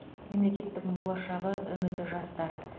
мемлекеттің болашағы үміті жастар